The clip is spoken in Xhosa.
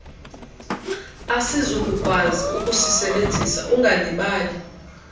asizukukwazi ukusisebenzisa ungalibali